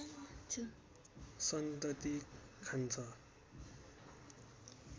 सन्तति खान्छ